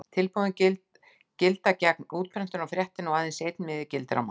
Tilboðin gilda gegn útprentunar á fréttinni og aðeins einn miði gildir á mann.